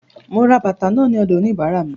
Mo ra bàtà náà ní ọ̀dọ̀ òníbàárà mi.